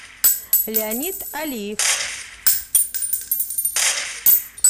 леонид алиев